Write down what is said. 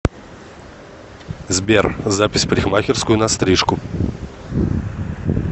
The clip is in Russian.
сбер запись в парикмахерскую на стрижку